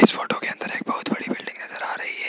इस फोटो के अंदर एक बहोत बड़ी बिल्डिंग नजर आ रही है।